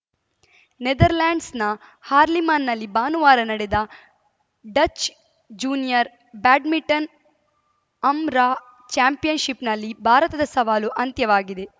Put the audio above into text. ನೆದರ್‌ಲೆಂಡ್ಸ್‌ನ ಹಾರ್ಲಿಮ್‌ನಲ್ಲಿ ಭಾನುವಾರ ನಡೆದ ಡಚ್‌ ಜೂನಿಯರ್‌ ಬ್ಯಾಡ್ಮಿಂಟನ್‌ ಅಂರಾ ಚಾಂಪಿಯನ್‌ಶಿಪ್‌ನಲ್ಲಿ ಭಾರತದ ಸವಾಲು ಅಂತ್ಯವಾಗಿದೆ